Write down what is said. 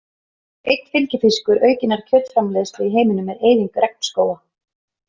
Einn fylgifiskur aukinnar kjötframleiðslu í heiminum er eyðing regnskóga.